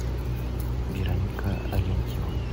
вероника алентьева